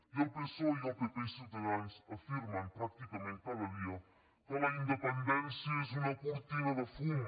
i el psoe el pp i ciutadans afirmen pràcticament cada dia que la independència és una cortina de fum